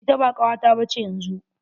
Ita ba kawata ba ce yanzu.